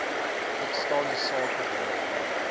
uitstaande sake waarvoor